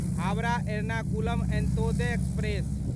Howrah Ernakulam Antyodaya express